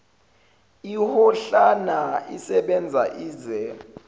iyohlala isebenza ize